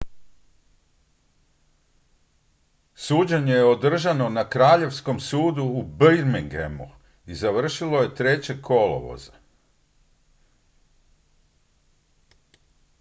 suđenje je održano na kraljevskom sudu u birminghamu i završilo je 3. kolovoza